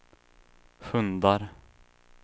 hundar